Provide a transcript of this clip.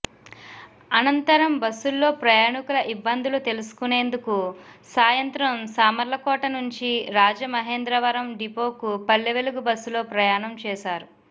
అనంతరం బస్సుల్లో ప్రయాణికుల ఇబ్బందులు తెలుసుకునేందుకు సాయంత్రం సామర్లకోట నుంచి రాజమహేంద్రవరం డిపోకు పల్లెవెలుగు బస్సులో ప్రయాణం చేశారు